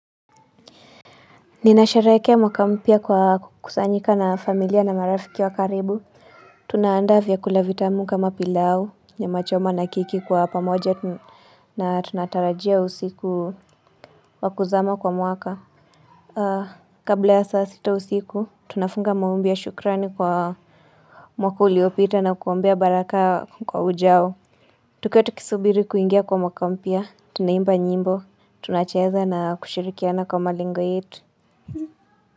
Ninasherehekea mwaka mpya kwa kusanyika na familia na marafiki wa karibu Tunaandaa vyakula vitamu kama pilau nyama choma na keki kwa pamoja na tunatarajia usiku wa kuzama kwa mwaka kabla ya saa sita usiku tunafunga maombi ya shukrani kwa mwaka uliopita na kuombea baraka kwa ujao Tuketi kusubiri kuingia kwa mwaka mpya tunaimba nyimbo tunacheza na kushirikiana kwa malengo yetu.